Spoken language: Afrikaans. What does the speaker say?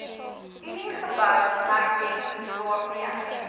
uniegebou herdenk waarmee